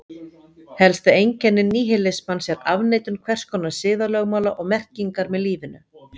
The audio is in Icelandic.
Helsta einkenni níhilismans er afneitun hvers konar siðalögmála og merkingar með lífinu.